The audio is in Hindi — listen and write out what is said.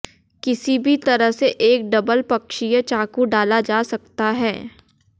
किसी भी तरह से एक डबल पक्षीय चाकू डाला जा सकता है